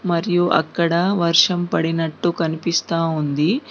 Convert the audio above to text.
మరియు అక్కడ వర్షం పడినట్టు కనిపిస్తా ఉంది.